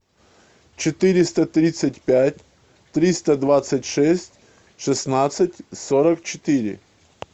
четыреста тридцать пять триста двадцать шесть шестнадцать сорок четыре